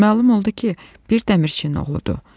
Məlum oldu ki, bir dəmirçinin oğludur.